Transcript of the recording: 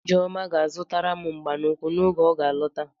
Ijeọma ga-azụtaram mgba n'ụkwụ oge ọga alọta.